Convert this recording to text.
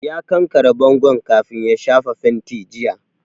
Ya kankare bangon kafin ya shafa fenti jiya